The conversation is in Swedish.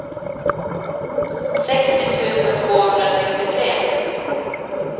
sextio tusen tvåhundrasextiotre